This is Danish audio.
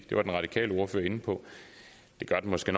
det var den radikale ordfører inde på det gør den måske